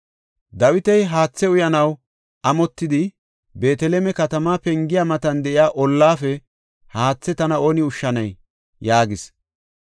Dawiti haathe uyanaw amotidi, “Beeteleme katamaa pengiya matan de7iya olape haathe tana oone ushshanay” yaagis.